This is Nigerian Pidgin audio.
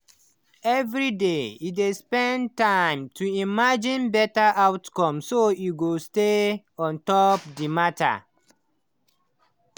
every day he dey spend small time to imagine better outcome so he go stay ontop the matter